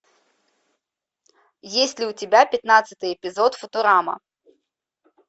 есть ли у тебя пятнадцатый эпизод футурама